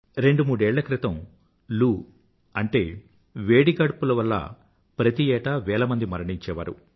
రెండు మూడేళ్ల క్రితం లూ అంటే వేడి గాడ్పుల వల్ల ప్రతి ఏtaa veలమంది మరణించేవారు